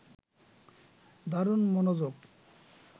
দারুণ মনোযোগ